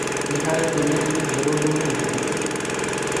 Nĩ harĩ ndũmĩrĩri njerũ ndũmĩiro?